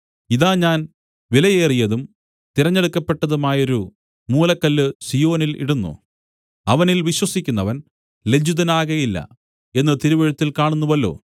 ഇതാ ഞാൻ വിലയേറിയതും തിരഞ്ഞെടുക്കപ്പെട്ടതുമായൊരു മൂലക്കല്ല് സീയോനിൽ ഇടുന്നു അവനിൽ വിശ്വസിക്കുന്നവൻ ലജ്ജിതനാകയില്ല എന്ന് തിരുവെഴുത്തിൽ കാണുന്നുവല്ലോ